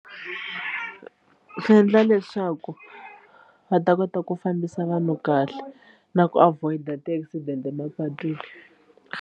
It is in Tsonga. Swi endla leswaku va ta kota ku fambisa vanhu kahle na ku avoid-a ti-accident emapatwini.